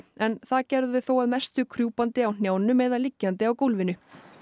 en það gerðu þau þó að mestu krjúpandi á hnjánum eða liggjandi á gólfinu